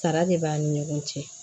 Sara de b'an ni ɲɔgɔn cɛ